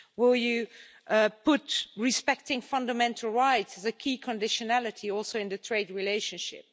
Will you put respecting fundamental rights as a key conditionality, including in the trade relationship?